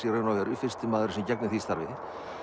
í raun og veru fyrsti maðurinn sem gegnir því starfi